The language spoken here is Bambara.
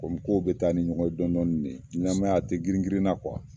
Komi kow be taa ni ɲɔgɔn ye dɔn dɔnni ne ɲanamaya a ti girinkrinna